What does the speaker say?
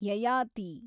Yayati